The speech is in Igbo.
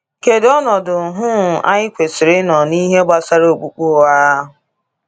Kedu ọnọdụ um anyị kwesịrị ịnọ n’ihe gbasara okpukpe ụgha?